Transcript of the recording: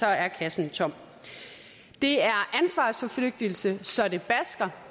er kassen er tom det er ansvarsforflygtigelse så det basker